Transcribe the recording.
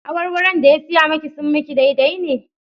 Awarwaron da ya saya maki sun maki daidai ne?